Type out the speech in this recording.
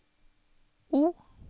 O